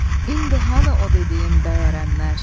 İndi hanı o dediyim bəy ərənlər?